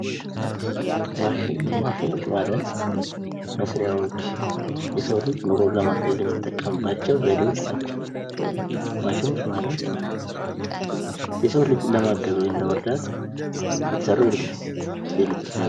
ማሸኖች። ማሽኖች ማለት መስሪያዎች፣ የሰው ልጅ ኑሮውን ለማቅለል የሚጠቀምባቸው ዘዴዎች ናቸው ።ማሸኖች ማለት የሰው ልጅን ለማገዝ ወይም ለመርዳት የተሰሩ የኤሌክትሪክ ነገር...